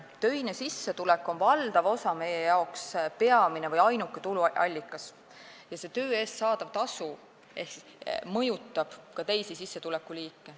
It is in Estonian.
Töine sissetulek on meist valdava osa jaoks peamine või ainuke tuluallikas ja töö eest saadav tasu mõjutab ka teisi sissetulekuliike.